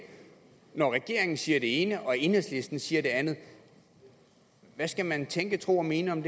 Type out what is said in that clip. når regeringen siger det ene og enhedslisten siger det andet hvad skal man tænke tro og mene om